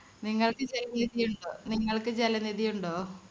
നിങ്ങൾക്ക് ജലനിധിയുണ്ടോ നിങ്ങൾക്ക് ജലനിധി ഉണ്ടോ?